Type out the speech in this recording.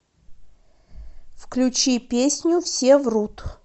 включи песню все врут